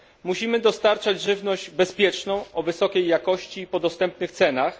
Musimy dostarczać żywność bezpieczną, o wysokiej jakości i po dostępnych cenach.